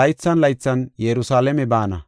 laythan laythan Yerusalaame baana.